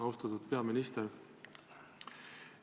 Austatud peaminister!